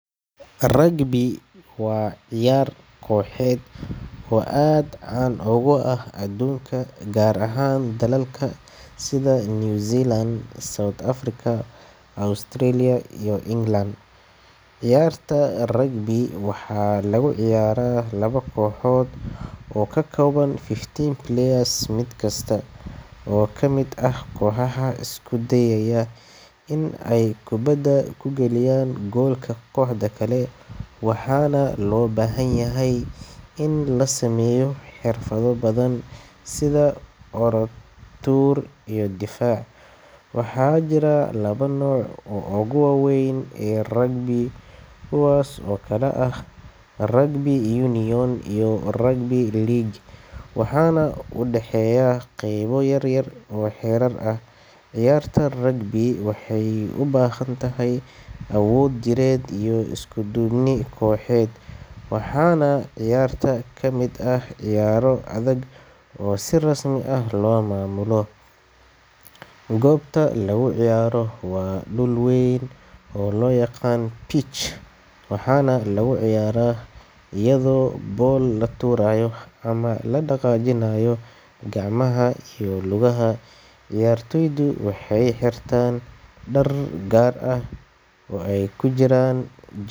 Rugby waa ciyaar kooxeed oo aad caan uga ah adduunka, gaar ahaan dalalka sida New Zealand, South Africa, Australia, iyo England. Ciyaarta rugby waxaa lagu ciyaaraa labo kooxood oo ka kooban 15 players mid kasta oo ka mid ah kooxaha isku dayaya in ay kubbadda ku galiyaan goolka kooxda kale, waxaana loo baahan yahay in la sameeyo xirfado badan sida orod, tuur, iyo difaac. Waxaa jira laba nooc oo ugu waaweyn ee rugby, kuwaas oo kala ah rugby union iyo rugby league, waxaana u dhexeeya qaybo yar oo xeerar ah. Ciyaarta rugby waxay u baahan tahay awood jireed iyo isku-duubni kooxeed, waxaana ciyaarta ka mid ah ciyaaro adag oo si rasmi ah loo maamulo. Goobta lagu ciyaaro waa dhul weyn oo loo yaqaan pitch, waxaana lagu ciyaaraa iyadoo ball la tuurayo ama la dhaqaajinayo gacmaha iyo lugaha. Ciyaartoydu waxay xirtaan dhar gaar ah, oo ay ku jiraan jer.